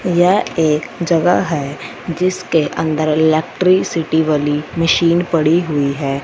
यह एक जगह है जिसके अंदर इलेक्ट्रिसिटी वाली मशीन पड़ी हुई है।